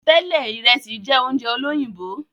Tẹlẹ, Ìresì jẹ oúnjẹ olóyìnbó